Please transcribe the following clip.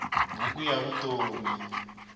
buku ya vutom